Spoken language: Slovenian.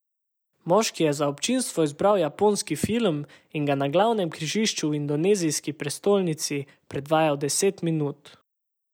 Moški je za občinstvo izbral japonski film in ga na glavnem križišču v indonezijski prestolnici predvajal deset minut.